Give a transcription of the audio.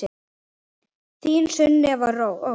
Þín Sunneva Ósk.